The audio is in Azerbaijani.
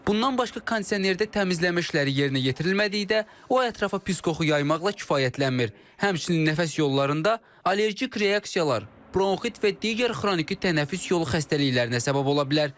Bundan başqa kondisionerdə təmizləmə işləri yerinə yetirilmədikdə, o ətrafa pis qoxu yaymaqla kifayətlənmir, həmçinin nəfəs yollarında allergik reaksiyalar, bronxit və digər xroniki tənəffüs yolu xəstəliklərinə səbəb ola bilər.